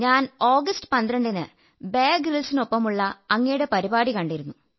ഞാൻ ആഗസ്റ്റ് 12 ന് ബയർ ഗ്രിൽസിനോടൊപ്പമുള്ള അങ്ങയുടെ പരിപാടി കണ്ടിരുന്നു